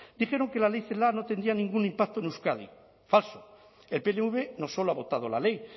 dijeron que la ley celaá no tendría ningún impacto en euskadi falso el pnv no solo ha votado la ley